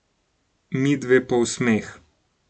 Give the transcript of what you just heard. Midve pa v smeh.